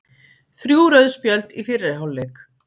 Þrjú rauð spjöld í fyrri hálfleik